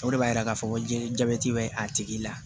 O de b'a yira k'a fɔ ko jabɛti bɛ a tigi la